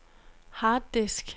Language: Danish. harddisk